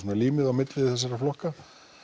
límið á milli þessara flokka